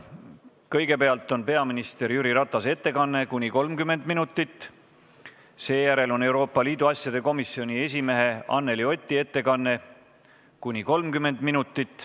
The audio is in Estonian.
Kõigepealt on peaminister Jüri Ratase ettekanne ja seejärel on Euroopa Liidu asjade komisjoni esimehe Anneli Oti ettekanne .